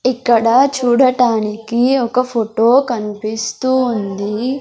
ఇక్కడ చూడటానికి ఒక ఫోటో కనిపిస్తూ ఉంది.